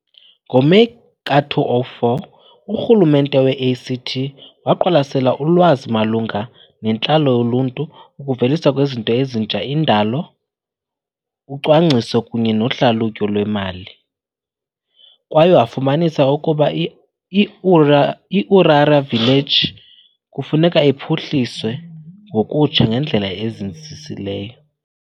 NgoMeyi ka-2004 uRhulumente we-ACT waqwalasela ulwazi malunga nentlalo yoluntu, ukuveliswa kwezinto ezintsha, indalo, ucwangciso kunye nohlalutyo lwemali kwaye wafumanisa ukuba i-Uriarra Village kufuneka iphuhliswe ngokutsha ngendlela ezinzisisileyo.